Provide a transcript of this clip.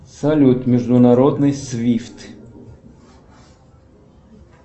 салют международный свифт